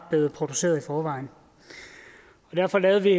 blevet produceret i forvejen derfor lavede vi